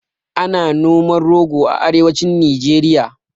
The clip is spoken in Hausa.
Ana noman rogo a arewacin nijeriya